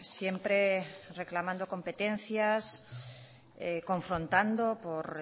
siempre reclamando competencias confrontando por